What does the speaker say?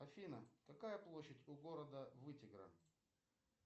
афина какая площадь у города вытегра